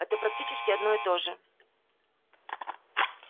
это практически одно и то же